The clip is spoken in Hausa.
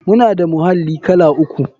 Muna da muhalli kala uku.